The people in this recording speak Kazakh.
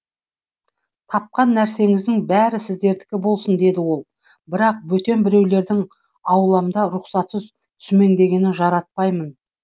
тапқан нәрсеңіздің бәрі сіздердікі болсын деді ол бірақ бөтен біреулердің ауламда рұқсатсыз сүмеңдегенін жаратпаймын